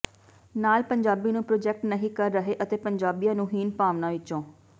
ਨਾਲ ਪੰਜਾਬੀ ਨੂੰ ਪ੍ਰੋਜੈਕਟ ਨਹੀਂ ਕਰ ਰਹੇ ਅਤੇ ਪੰਜਾਬੀਆਂ ਨੂੰ ਹੀਣ ਭਾਵਨਾ ਵਿਚੋਂ